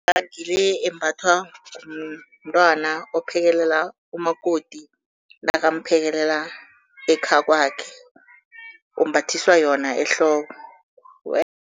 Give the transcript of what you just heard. Ngile embathwa ngumntwana ophekelela umakoti nakamphekelela ekhakwakhe, umbathiswa yona ehloko